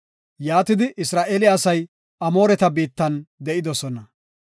Yaatidi, Isra7eele asay Amooreta biittan de7idosona.